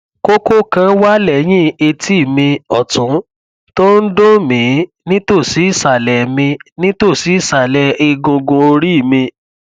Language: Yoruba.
kókó kan wà lẹyìn etí mi ọtún tó ń duùn mí nítòsí ìsàlẹ mí nítòsí ìsàlẹ egungun orí mi